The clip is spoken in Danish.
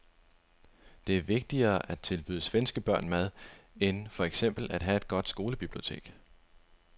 Det er vigtigere at tilbyde svenske børn mad end for eksempel at have et godt skolebibliotek.